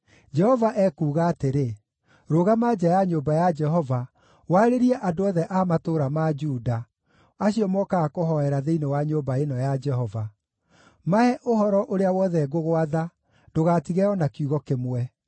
“Jehova ekuuga atĩrĩ: Rũgama nja ya nyũmba ya Jehova warĩrie andũ othe a matũũra ma Juda, acio mokaga kũhoera thĩinĩ wa nyũmba ĩno ya Jehova. Mahe ũhoro ũrĩa wothe ngũgwatha; ndũgatige o na kiugo kĩmwe.